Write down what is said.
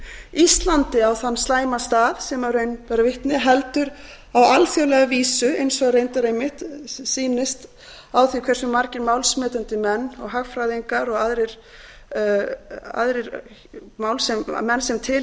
íslandi á þann slæma stað sem raun ber vitni heldur á alþjóðlega vísu eins og reyndar einmitt sýnist á því hversu margir málsmetandi menn hagfræðingar og aðrir menn sem til